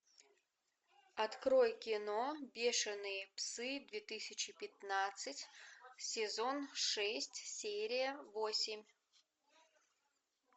открой кино бешеные псы две тысячи пятнадцать сезон шесть серия восемь